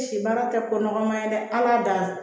Si baara tɛ ko nɔgɔma ye dɛ ala da